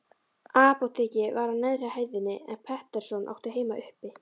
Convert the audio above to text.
Apótekið var á neðri hæðinni, en Pettersson átti heima uppi.